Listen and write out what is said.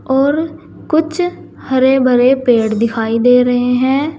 और कुछ हरे भरे पेड़ दिखाई दे रहे हैं।